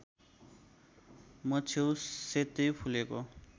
मछेउ सेतै फुलेको